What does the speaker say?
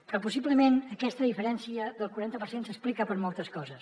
però possiblement aquesta diferència del quaranta per cent s’explica per moltes coses